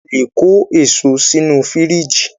A lè kó èso sínu fìríjìì.